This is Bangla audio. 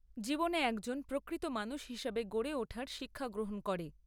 জীবনে একজন প্রকৃত মানুষ হিসাবে গড়ে ওঠার শিক্ষা গ্রহণ করে।